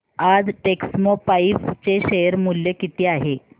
आज टेक्स्मोपाइप्स चे शेअर मूल्य किती आहे